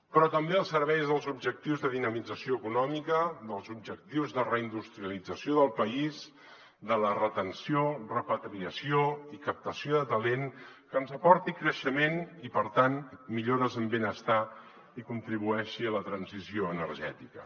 però també al servei dels objectius de dinamització econòmica dels objectius de reindustrialització del país de la retenció repatriació i captació de talent que ens aportin creixement i per tant millores en benestar i contribueixin a la transició energètica